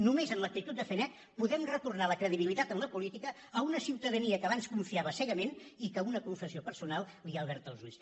només amb l’actitud de fer net podem retornar la credibilitat en la política a una ciutadania que abans hi confiava cegament i a qui una confessió personal li ha obert els ulls